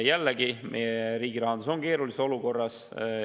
Jällegi, meie riigi rahandus on keerulises olukorras.